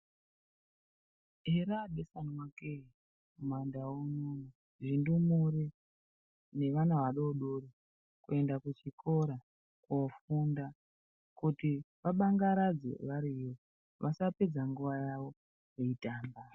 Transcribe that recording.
Yere abeswana kee mumandau muno, zvindumure nevana vadodori. Kuenda kuchikora kofunda kuti vabangaradze variyo vasapedza nguva yavo veitamba.